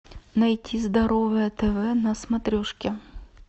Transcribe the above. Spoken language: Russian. найти здоровое тв на смотрешке